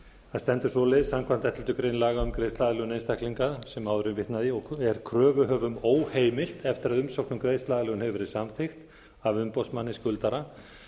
það stendur svoleiðis samkvæmt elleftu grein laga um greiðsluaðlögun einstaklinga sem áður er vitnað í er kröfuhöfum óheimilt eftir að umsókn um greiðsluaðlögun hefur verið samþykkt af umboðsmanni skuldara